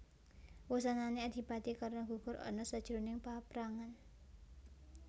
Wusanané Adipati Karna gugur ana sajroning paprangan